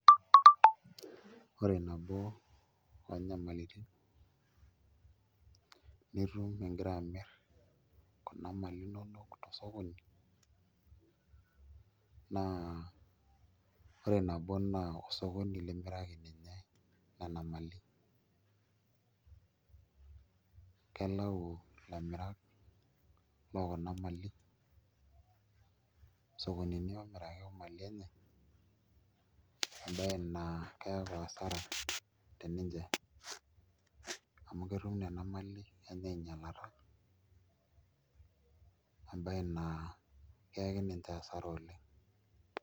Ore nabo oonyamalitin nitu ingira amirr kuna mali inonok tosokoni naa ore nabo naa osokoni limiraki ninye nena mali kelau ilamirak lookuna mali isokonini oomiraki imali enye embaye naa keeku asara teninche amu ketum nena mali enye ainyialata embaye naa keyaki niche hasara oleng'.